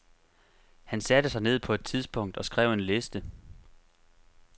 Han satte sig ned på et tidspunkt og skrev en liste.